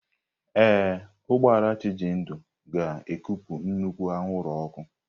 Ee, ụgbọ ala Chijindu ga-ekupụ nnukwu anwụrụ ọkụ.